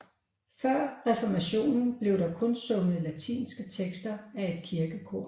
Før reformationen blev der kun sunget latinske tekster af et kirkekor